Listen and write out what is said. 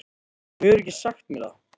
Þú hefur ekkert sagt mér það!